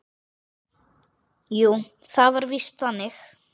Jú, það var víst þannig.